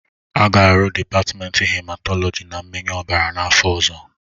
A ga-arụ dịpatmenti hematọlọji na mmịnye ọbara n'afọ ọzọ